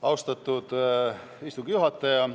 Austatud istungi juhataja!